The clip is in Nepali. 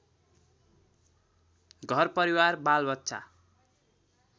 घरपरिवार बालबच्चा